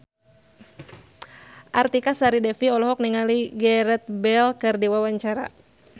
Artika Sari Devi olohok ningali Gareth Bale keur diwawancara